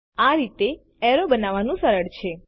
આ રીતે એરો બનાવવું સરળ છે